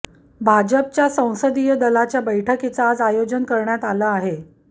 भाजपच्या संसदीय दलाच्या बैठकीचं आज आयोजन करण्यात आलं आहे